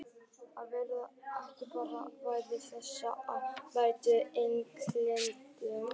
Var þetta ekki bara svipað og þegar við mættum Englendingunum?